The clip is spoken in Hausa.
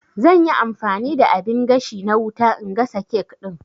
Zanyi amfani da abin gashi na wuta na gasa kek ɗin